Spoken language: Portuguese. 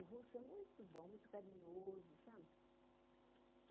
O Russo é muito bom, muito carinhoso, sabe?